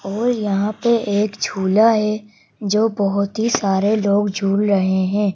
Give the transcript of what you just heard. और यहां पे एक झूला है जो बहुत ही सारे लोग झूल रहे हैं।